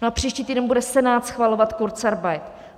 No a příští týden bude Senát schvalovat kurzarbeit.